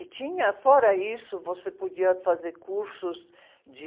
E tinha, fora isso, você podia fazer cursos de...